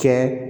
Kɛ